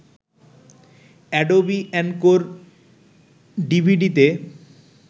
Adobe Encore ডিভিডিতে